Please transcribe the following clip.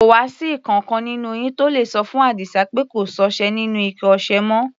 Kò wá sí ìkankan nínú yín tó le sọ fún Àdísá pé kò sọ́ṣẹ nínú ike ọṣẹ mọ́?